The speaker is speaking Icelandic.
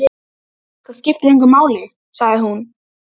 Hárið hefur hins vegar alltaf verið liðað.